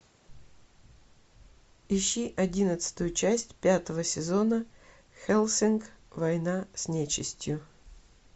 ищи одиннадцатую часть пятого сезона хеллсинг война с нечистью